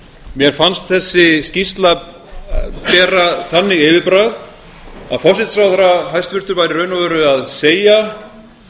mér fannst þessi skýrsla bera þannig yfirbragð að hæstvirtur forsætisráðherra væri í raun og veru að segja